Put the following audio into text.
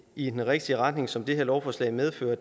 i den rigtige retning som det her lovforslag medfører